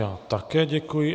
Já také děkuji.